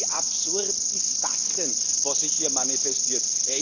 Ich kann nur sagen Wie absurd ist das denn, was sich hier manifestiert?